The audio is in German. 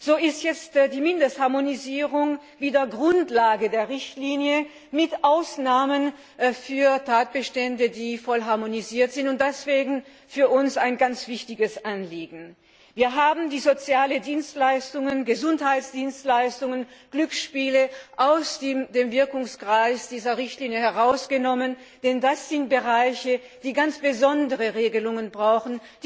So ist jetzt die Mindestharmonisierung wieder Grundlage der Richtlinie mit Ausnahme der Tatbestände, die vollständig harmonisiert sind, was für uns ein ganz wichtiges Anliegen war. Wir haben die sozialen Dienstleistungen, Gesundheitsdienstleistungen und Glücksspiele aus dem Anwendungsbereich dieser Richtlinie herausgenommen, denn das sind Bereiche, die ganz besondere Regelungen brauchen.